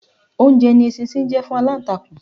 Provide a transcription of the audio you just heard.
Oúnjẹ ni eṣinṣin jẹ́ fún aláǹtakùn.